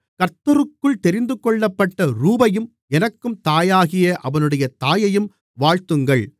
கர்த்தருக்குள் தெரிந்துகொள்ளப்பட்ட ரூபையும் எனக்கும் தாயாகிய அவனுடைய தாயையும் வாழ்த்துங்கள்